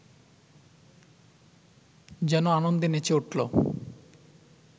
যেন আনন্দে নেচে উঠল